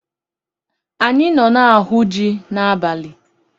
Anyị nọ na-ahụ ji ahụ n'abalị.